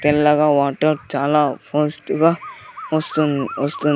తెల్లగా వాటర్ చాలా ఫోస్టుగా వస్తుం వస్తుం--